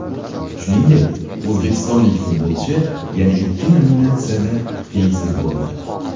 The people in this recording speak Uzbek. Shuningdek, o‘zbekistonlik futbolchi yana ikki nominatsiyada tengsiz bo‘ldi.